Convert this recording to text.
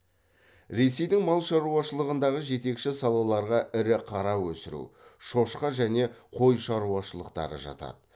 ресейдің мал шаруашылығындағы жетекші салаларға ірі қара өсіру шошқа және қой шаруашылықтары жатады